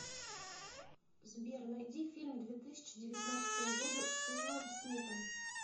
сбер найди фильм две тысячи девятнадцатого года с уиллом смитом